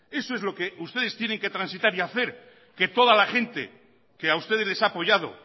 eso es lo que ustedes tienen que transitar y hacer que toda la gente que a ustedes les ha apoyado